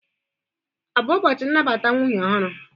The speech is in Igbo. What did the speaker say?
Ọ bụ ụbọchị nnabata nwunye ọhụrụ?